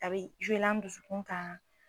A bɛ la n dusukun kan.